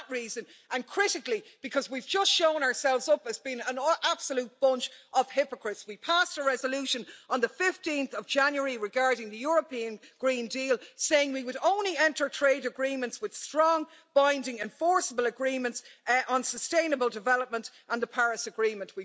For that reason and, critically, because we've just shown ourselves up as being an absolute bunch of hypocrites. We passed a resolution on 15 January, regarding the European Green Deal, saying we would only enter trade agreements with strong, binding, enforceable agreements on sustainable development and the Paris Agreement.